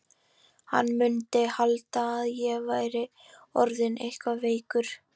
Hann mundi halda að ég væri orðinn eitthvað veikur.